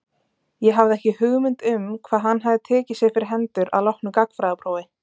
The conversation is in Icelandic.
Ég hafði ekki hugmynd um hvað hann hafði tekið sér fyrir hendur að loknu gagnfræðaprófi.